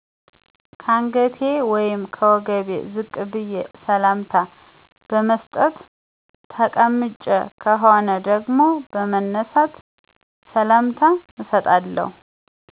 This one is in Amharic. ከአንገቴ ወይም ከወገቤ ዝቅ በዬ ሰላምታ በመስጠት። ተቀምጬ ከሆነ ደግሞ በመነሳት ሰላምታ እሰጣለሁ